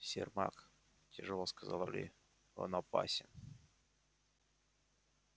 сермак тяжёло сказал ли он опасен